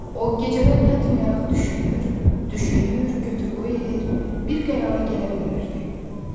O gecələr yatmayaraq düşünür, düşünür, götür-qoy edir, bir qərara gələ bilmirdi.